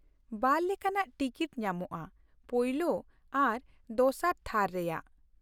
ᱵᱟᱨ ᱞᱮᱠᱟᱱᱟᱜ ᱴᱤᱠᱤᱴ ᱧᱟᱢᱚᱜᱼᱟ, ᱯᱳᱭᱞᱳ ᱟᱨ ᱫᱚᱥᱟᱨ ᱛᱷᱟᱨ ᱨᱮᱭᱟᱜ ᱾